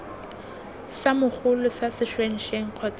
sa mogolo sa sešwengšeng kgotsa